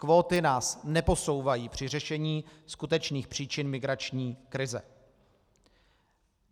Kvóty nás neposouvají při řešení skutečných příčin migrační krize.